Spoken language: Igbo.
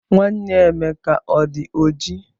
Nwanne Emeka ọdi oji?